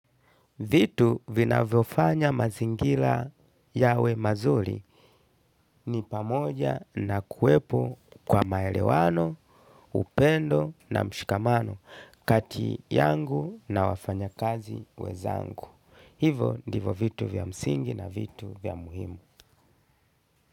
Vitu vinavyofanya mazingira yawe mazuri ni pamoja na kuwepo kwa maelewano, upendo na mshikamano kati yangu na wafanyakazi wezangu. Hivo ndivo vitu vya mzingi na vitu vya muhimu.